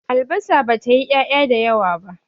albasar ba ta yi ya' ya da yawa ba